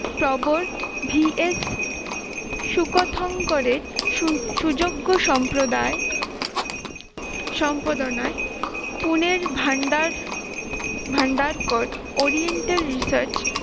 প্রবর V. S সুকথন করে সু~সুযোগ্য সম্প্রদায় সম্পাদনায় পুনের ভান্ডার ভান্ডারকর oriental research